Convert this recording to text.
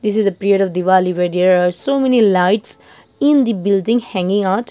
this is peer of diwali where they are so many lights in the building hanging out.